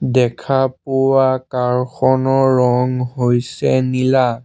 দেখা পোৱা কাৰ খনৰ ৰং হৈছে নীলা।